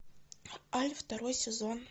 альф второй сезон